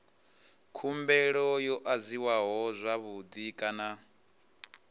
khumbelo yo adziwa zwavhui kana